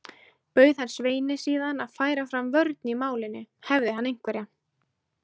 Bauð hann Sveini síðan að færa fram vörn í málinu, hefði hann einhverja.